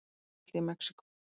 Jarðskjálfti í Mexíkó